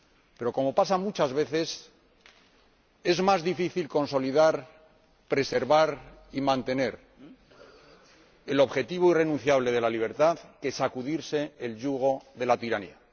Pero como pasa muchas veces, es más difícil consolidar, preservar y mantener el objetivo irrenunciable de la libertad que sacudirse el yugo de la tiranía.